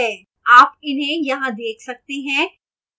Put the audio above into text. आप इन्हें यहां देख सकते हैं